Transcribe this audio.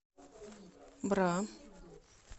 бра